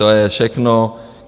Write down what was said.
To je všechno.